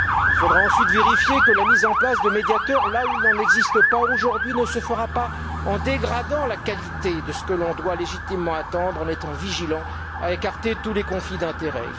Il faudra ensuite vérifier que la mise en place de médiateurs, là où il n'en existe pas aujourd'hui, ne se fera pas au détriment de la qualité de ce que l'on doit légitimement attendre, et que l'on veillera à écarter tous les conflits d'intérêt.